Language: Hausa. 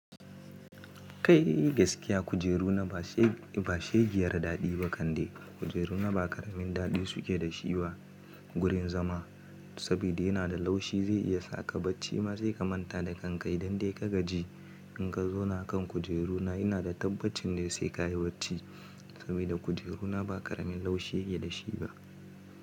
Kai gaskiya kujeru na ba shegiyar daɗi ba kande. Kujeru na ba ƙaramin daɗi suke da shi ba gurin zama. Saboda yana da laushi zai iya sa ka bacci ma sai kamanta da kankai dan dai ka gaji. In ka zauna kan kujeru na ina da tabbacin dai sai ka yi bacci saboda kujeru na ba ƙaramin laushi yake da shi ba.